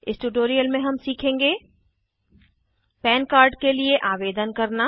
इस ट्यूटोरियल में हम सीखेंगे पन कार्ड के लिए आवेदन करना